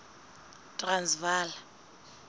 transvala